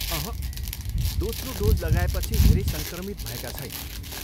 अहँ, दोस्रो डोज लगाएपछि धेरै सङ्क्रमित भएका छैनन्।